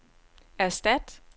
erstat